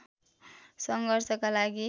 सङ्घर्षका लागि